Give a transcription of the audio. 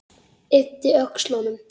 Yppti öxlum.